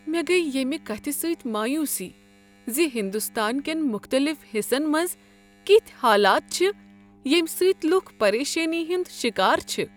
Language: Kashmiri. مےٚ گٔیۍ ییمِہ کتِھہ سۭتۍ مایوسی زِ ہندوستان کین مختلف حصن منز کِیتھۍ حالات چھ ییمہ سۭتۍ لکھ پریشٲنی ہٕندۍ شکار چھ ۔